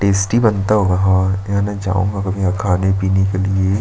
Tasty बनता होगा यहाँ खाने पीने के लिए।